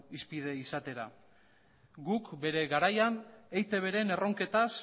hizpide izatera guk bere garaian eitbren erronketaz